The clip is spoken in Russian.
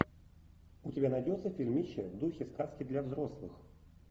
у тебя найдется фильмище в духе сказки для взрослых